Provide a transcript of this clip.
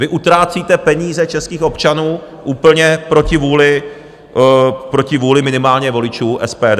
Vy utrácíte peníze českých občanů úplně proti vůli minimálně voličů SPD.